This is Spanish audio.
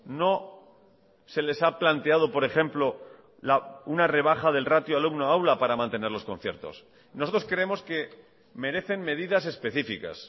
no se les ha planteado por ejemplo una rebaja del ratio alumno aula para mantener los conciertos nosotros creemos que merecen medidas específicas